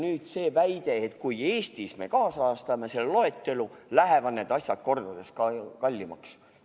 Nüüd on selline väide, et kui Eestis me kaasajastame selle loetelu, lähevad need asjad kordades kallimaks.